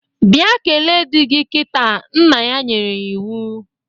Bịa kele di gi kịta, nna ya nyere ya iwu